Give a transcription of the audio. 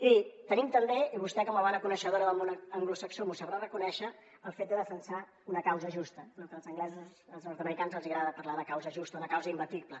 i tenim també i vostè com a bona coneixedora del món anglosaxó m’ho sabrà reconèixer el fet de defensar una causa justa el que als anglesos als nord americans els agrada parlar de causa justa una causa imbatible